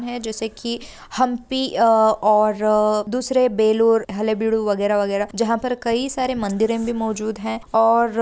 हैं जैसे कि हम्पी अ और दूसरे बेल्लूर हलेबीडु वगैरा वगैरा जहाँ पर कई सारे मंदिरें भी मौजूद हैं और --